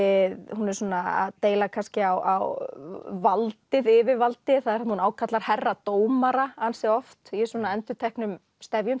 hún er svona að deila kannski á valdið yfirvaldið hún ákallar herra dómara ansi oft í svona endurteknum stefjum